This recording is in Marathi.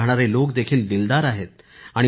तिथे राहणारे लोक देखील दिलदार आहेत